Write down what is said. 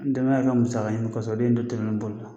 Denbaya ka musaka ɲini kɔsɔn o de ye n don telimani boli la. boli la